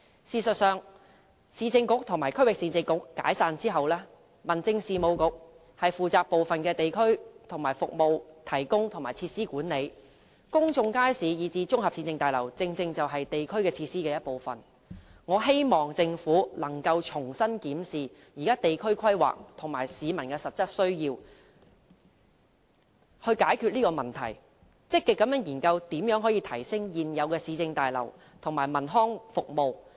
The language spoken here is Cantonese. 事實上，市政局和區域市政局解散後，民政事務局負責部分地區服務提供和設施管理，公眾街市以至綜合市政大樓正正是地區設施的一部分，我希望政府可以重新檢視地區規劃與市民的實質需要，以解決這個問題，並積極研究如何提升現有市政大樓和文康服務。